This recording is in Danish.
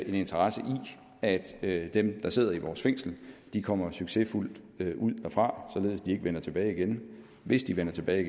en interesse i at at dem der sidder i vores fængsler kommer succesfuldt ud derfra således at de ikke vender tilbage men hvis de vender tilbage